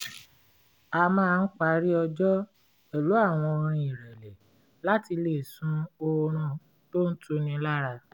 a máa ń parí ọjọ́ pẹ̀lú àwọn orin ìrẹ̀lẹ̀ láti lè sùn oorun tó ń tuni lára